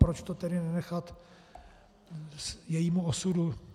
Proč to tedy nenechat jejímu osud.